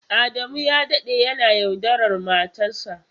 Adamu ya dade yana yaudarar matarsa.